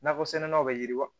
Nakɔsɛnɛlaw bɛ yiriwa